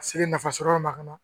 Ka se nafa sɔrɔ yɔrɔ ma ka na